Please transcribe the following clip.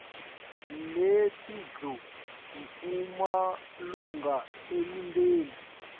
netindlu kumalunga emindeni